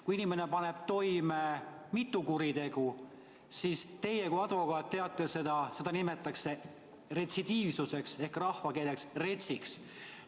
Kui inimene paneb toime mitu kuritegu, siis – teie kui advokaat teate seda – nimetatakse seda retsidiivsuseks ehk rahvakeeles kutsutakse seda inimest retsiks.